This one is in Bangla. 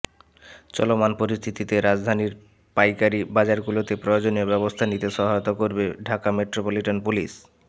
চলমান পরিস্থিতিতে রাজধানীর পাইকারি বাজারগুলোতে প্রয়োজনীয় ব্যবস্থা নিতে সহায়তা করবে ঢাকা মেট্রোপলিটন পুলিশ